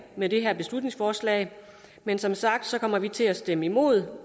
med det her beslutningsforslag men som sagt kommer vi til at stemme imod